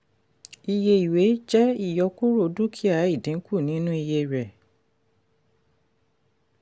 iye ìwé jẹ́ ìyọkúrọ̀ dúkìá ìdínkù nínú iye rẹ̀.